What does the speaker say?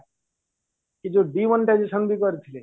ଏଇ ଯୋଉ demonetization ବି କରିଥିଲେ